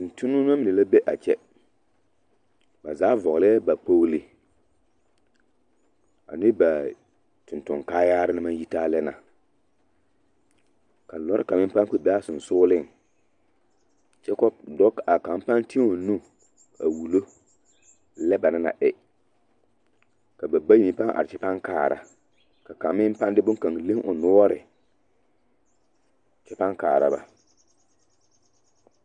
Tontonnema mine la be a kyɛ ba zaa vɔglɛɛ ba kpogle ane baa toŋtoŋ kaayaare na maŋ yi taa lɛ na ka lɔre kaŋ meŋ paŋ kpɛ be a seŋsugliŋ kyɛ ka dɔ a kaŋ paŋ ti o nu a wullo lɛ ba naŋ na e ka ba bayi paŋ are kyɛ paŋ kaara ka kaŋ meŋ paŋ de bonkaŋ leŋ o noɔre kyɛ paŋ kaara ba.